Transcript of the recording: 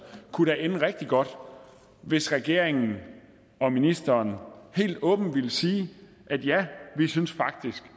kunne ende rigtig godt hvis regeringen og ministeren helt åbent ville sige ja vi synes faktisk